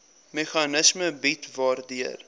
meganisme bied waardeur